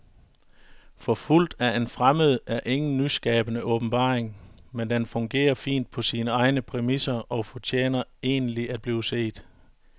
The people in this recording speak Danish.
Forfulgt af en fremmed er ingen nyskabende åbenbaring, men den fungerer fint på sine egne præmisser og fortjener egentlig at blive set.